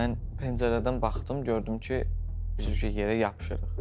Mən pəncərədən baxdım, gördüm ki, biz yerə yapışırıq.